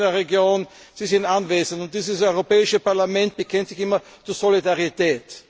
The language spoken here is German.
Sie sind in der Region, Sie sind anwesend, und dieses Europäische Parlament bekennt sich immer zur Solidarität.